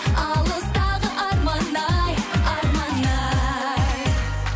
алыстағы арман ай арман ай